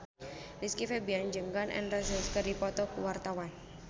Rizky Febian jeung Gun N Roses keur dipoto ku wartawan